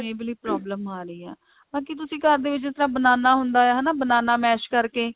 ਇਹ ਵਾਲੀ problem ਆ ਰਹੀ ਆ ਬਾਕੀ ਤੁਸੀਂ ਘਰ ਦੇ ਵਿੱਚ ਜਿਸ ਤਰ੍ਹਾਂ banana ਹੁੰਦਾ ਹੈ ਹਨਾ banana mash ਕਰਕੇ